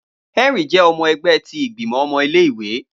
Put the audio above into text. Henry jẹ ọmọ ẹgbẹ ti Igbimọ ọmọ ile-iwe